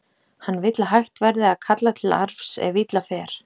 Hann vill að hægt verði að kalla til arfs ef illa fer.